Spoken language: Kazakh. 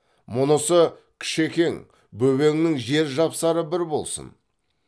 мұнысы кішекең бөбеңнің жер жапсары бір болсын